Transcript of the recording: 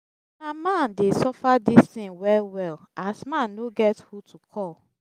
na man dey suffer dis tin wel wel as man no get who to cal